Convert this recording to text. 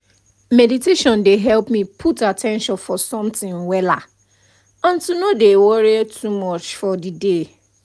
mediation dey help me put at ten tion for something wella and to no dey worry too much for the day